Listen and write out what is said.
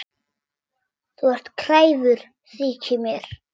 Þú ert kræfur, þykir mér.